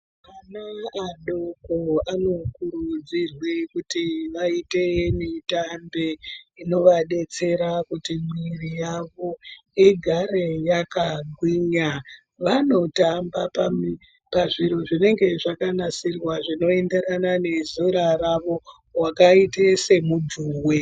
Ana adoko anokurudzirwa kuti vaite mitambe inovadetsera kuti mwiri yavo igare yakagwinya. Vanotamba pazviro zvinenge zvakanasirwa zvinoenderana nezera ravo wakaita semudzuwe.